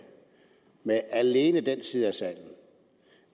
alene med den side af salen